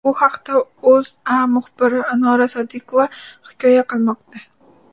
Bu haqda O‘zA muxbiri Anora Sodiqova hikoya qilmoqda .